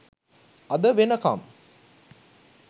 අද වෙනකම්